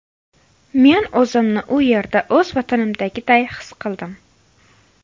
Men o‘zimni u yerda o‘z vatanimdagiday his qildim.